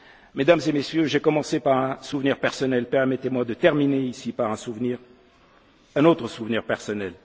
total. Mesdames et Messieurs, j'ai commencé par un souvenir personnel, permettez moi de terminer par un autre souvenir personnel.